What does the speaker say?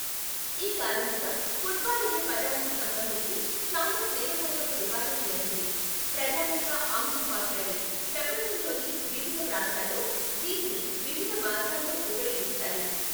ఈ కారణంగా, ఫుట్బాల్ అనే పదానికి సంబంధించి చాలా స్నేహపూర్వక వివాదం జరిగింది, ప్రధానంగా ఆంగ్లం మాట్లాడే ప్రపంచంలోని వివిధ ప్రాంతాల్లో దీనిని వివిధ మార్గాల్లో ఉపయోగిస్తారు.